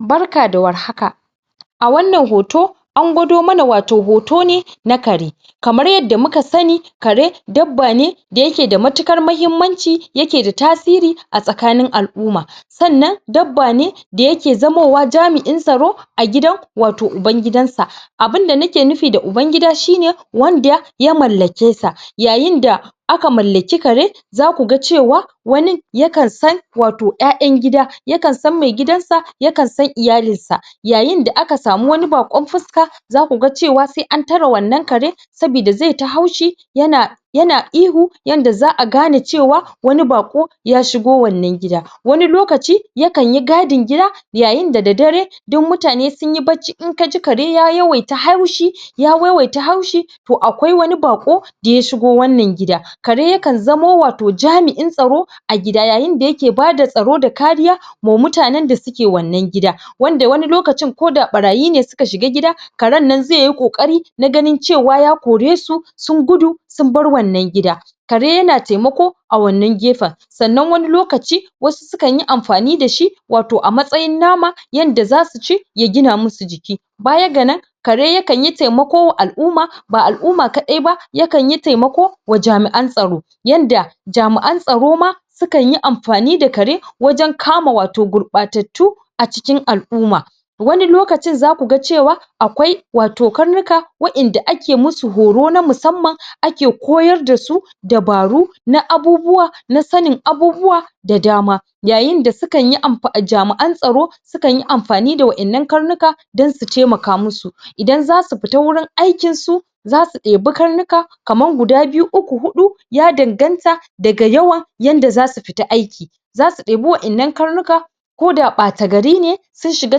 Barka da warhaka, a wannan hoto an gwado mana wato hoto ne na kare, kamar yadda muka sani kare dabba ne da yake da mutukar muhimmanci yake da tasiri a tsakanin al'umma sannan dabba ne da yake zamowa jami'in tsaro a gidan wato ubangidansa, abinda nake nufi da ubangida shine wanda ya mallake sa, yayin da yayin da aka mallaki kare zaku ga cewa wanin ya kan san wato yayan gida ya kan san maigidansa ya kan san iyalinsa yayin da aka sami wani bakon fuska zaku ga cewa sai an tare wannan kare saboda zai ta haushi yana-yana ihu yanda za'a gane cewa wani bako ya shigo wannan gida, wani lokaci ya kanyi gadin gida yayin da dare duk mutane sunyi bacci, in ka ji kare ya yawaita haushi- ya yawaita haushi to akwai wani bako da ya shigo wannan gida, kare ya kan zamo wato jami'in tsaro a gida yayin da yake ba da tsaro da kariya ma mutanen da suke wannan gida, wanda wani lokacin ko da barayi ne suka shiga gida karen nan zaiyi kokari na ganin cewa ya kore su s sun gudu sun bar wannan gida, kare yana taimako a wannan gefen. Sannan wani lokaci wasu su kan yi amfani dashi wato a matsayin nama yanda zasu ci ya gina musu jiki, baya ga nan kare ya kanyi taimako wa al'umma, ba al'umma kadai ba ya kan yi taimako wa jami'an tsaro yanda jami'an tsaro ma u kanyi amfani da kare wajen kama wato gurbatattu a cikin al'umma, wani lokacin zaku ga cewa akwai wato karnuka al'umma wadanda ake musu horo na musamman ake koyar dasu dabaru na abubuwa na sanin abubuwa da dama, yayin da su kan yi amfani- jami'an tsaro su kanyi amfani da wadannan karnuka don su taimaka musu, idan zasu fita wajen aikinsu zasu debi karnuka kamar guda biyu uku hudu, ya danganta da yawan da zasu fita aiki zasu debi wadannan karnuka ko da bata gari ne sun shiga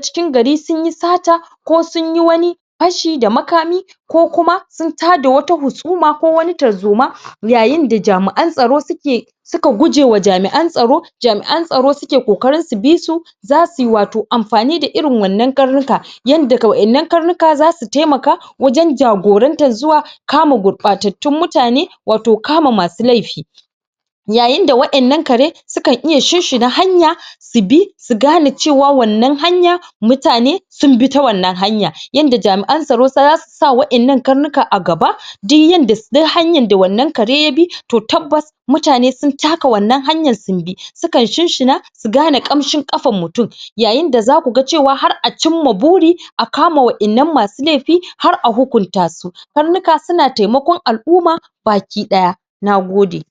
cikin gari sunyi sata ko sunyi wani fashi da makami ko kuma sun tada wata husuma ko wani tarzoma yayin da jami'an tsaro suke- suka gujewa jami'an tsaro suke kokarin su bi su zasu yi wato amfani da irin wannan karnika yanda wadannan karnuka zasu taimaka wajen jagorantar zuwa kama gurbatattan mutane, wato kama masu laifi. Yayin da wadannan kare su kan iya shinshina hanya su bi su gane cewa wannan hanya mutane sun bi ta wannan yanda jamian tsaro zasu sa wadannan karnuka a gaba duk yanda -duk hanyar da wannan kare ya bi to tabbas mutane sun taka wannan hanyar sun bi, su kan shinshina su gane kamshin kafar mutum yayin da zaku ga cewa har a cimma buri a kama wadannan masu laifi har a hukunta su. Karnuka suna taimakon al'umma baki daya. Nagode